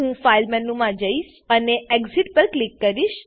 હું file file મેનુમાં જઈશ અને એક્સિટ એક્ઝીટ પર ક્લિક કરીશ